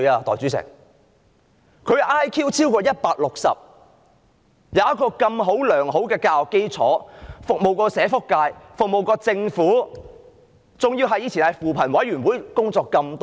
代理主席，他的 IQ 超過 160， 並曾接受良好教育，曾服務社會福利界和政府，過去亦曾在扶貧委員會工作多年。